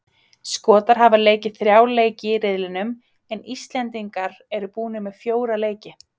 Skotar hafa leikið þrjá leiki í riðlinum en Íslendingar eru búnir með fjóra leik.